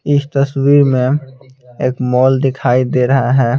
इस तस्वीर में एक मॉल दिखाई दे रहे है.